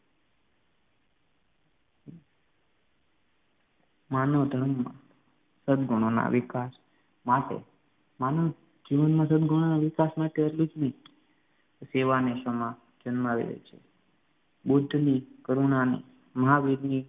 માનવધર્મમાં સદગુણો ના વિકાસ માટે માનવ જીવનમાં સદગુણો ના વિકાસ માટે એટલું જ નહીં સેવા અને શમા જન્માવેલી છે બુદ્ધની કરુણા ને મહાવીરની